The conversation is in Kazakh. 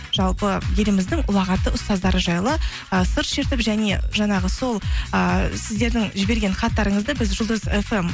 жалпы еліміздің ұлағатты ұстаздары жайлы ы сыр шертіп және жаңағы сол ыыы сіздердің жіберген хаттарыңызды біз жұлдыз фм